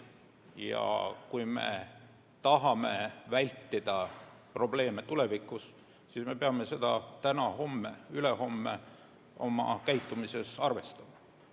Ja kui me tahame vältida probleeme tulevikus, siis me peame seda täna, homme, ülehomme oma käitumises arvestama.